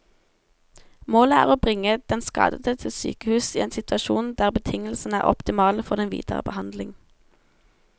Målet er å bringe den skadede til sykehus i en situasjon der betingelsene er optimale for den videre behandling.